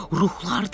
Ruhlardır.